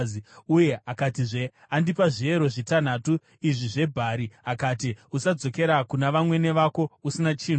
uye akatizve, “Andipa zviyero zvitanhatu izvi zvebhari, akati, ‘Usadzokera kuna vamwene vako usina chinhu.’ ”